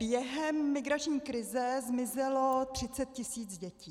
Během migrační krize zmizelo 30 tis. dětí.